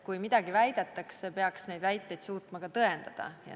Kui midagi väidetakse, peaks neid väiteid suutma ka tõendada.